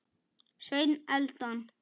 Sveinn Eldon.